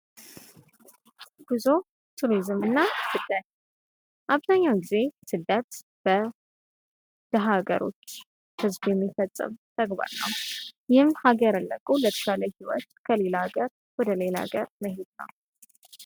ጉዞ ቱሪዝም እና ስደት፦ አብዛኛውን ጌዜ ስደት በሀገሮች ህዝብ የሚፈጠሩ ተግባር ነው። ይህም ሀገርን ለቆ ለስራ ከሌላ ሀገር ወደ ሌላ ሃገር ምሄድ ነው።